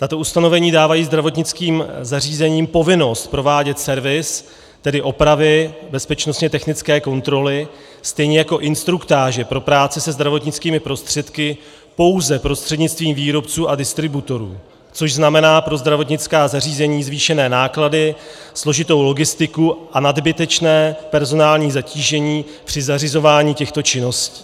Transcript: Tato ustanovení dávají zdravotnickým zařízením povinnost provádět servis, tedy opravy bezpečnostně technické kontroly, stejně jako instruktáže pro práci se zdravotnickými prostředky, pouze prostřednictvím výrobců a distributorů, což znamená pro zdravotnická zařízení zvýšené náklady, složitou logistiku a nadbytečné personální zatížení při zařizování těchto činností.